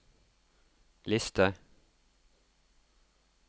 liste